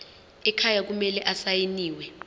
ekhaya kumele asayiniwe